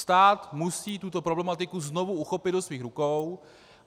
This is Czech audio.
Stát musí tuto problematiku znovu uchopit do svých rukou.